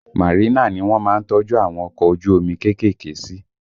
Marina ni wọ́n má ń tọ́jú àwọn ọkọ ojú omi kéékèèké sí